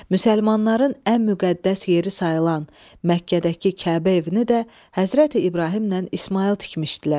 Müsəlmanların ən müqəddəs yeri sayılan Məkkədəki Kəbə evini də Həzrəti İbrahimlə İsmayıl tikmişdilər.